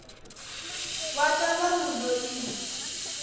wa ka ba mo loile